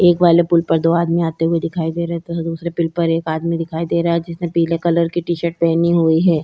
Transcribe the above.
एक बालक पुल पर दो आदमी आते हुए दिखाई दे रहे हैं तथा दूसरे पुल पर एक आदमी दिखाई दे रहा यही जिसने पिले कलर की टीशर्ट पहनी हुई है।